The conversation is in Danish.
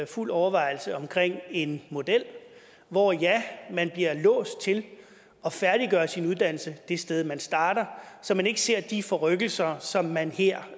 fuld overvejelse om en model hvor ja man bliver låst til at færdiggøre sin uddannelse det sted man starter så man ikke ser de forrykkelser som man her